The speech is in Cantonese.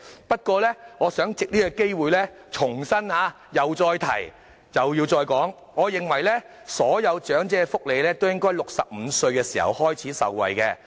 我亦想藉此機會重申，我認為所有長者均應在65歲開始享受長者福利。